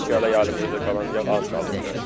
İndiki hələ əlimizdə də qalan yağ az qalıb biraz.